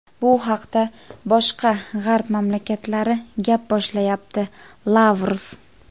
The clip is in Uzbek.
bu haqida boshqa G‘arb mamlakatlari gap boshlayapti – Lavrov.